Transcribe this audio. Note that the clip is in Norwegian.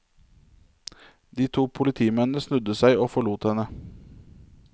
De to politimennene snudde seg og forlot henne.